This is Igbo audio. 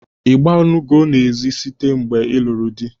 I gbanugo n'ezi site na mgbe ịlụrụ dị?